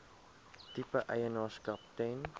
tipe eienaarskap ten